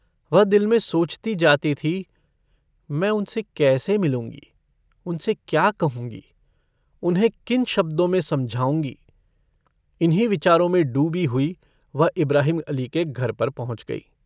वह दिल में सोचती जाती थी, मैं उनसे कैसे मिलूँगी? उनसे क्या कहूँगी? उन्हें किन शब्दो में समझाऊँगी? इन्हीं विचारो में डूबी हुई वह इब्राहिम अली के घर पर पहुँच गई।